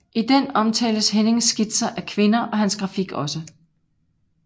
I den omtales Hennings Skitser af kvinder og hans grafik også